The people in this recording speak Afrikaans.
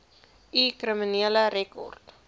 u kriminele rekord